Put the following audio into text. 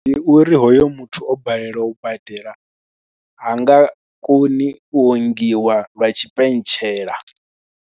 Ndi uri hoyo muthu o balelwa u badela ha nga koni u ongiwa lwa tshipentshela.